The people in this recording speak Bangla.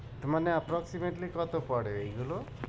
মানে approximately কত পরে এইগুলো?